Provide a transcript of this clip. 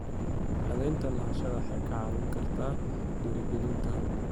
Cadaynta lahaanshaha waxay kaa caawin kartaa dhiirigelinta horumarka.